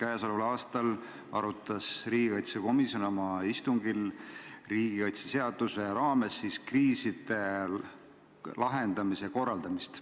9. märtsil arutas riigikaitsekomisjon oma istungil riigikaitseseaduse raames kriiside lahendamise korraldamist.